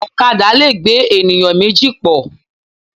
Ọ̀kadà lẹ̀ gbé ènìyàn méjì pọ̀.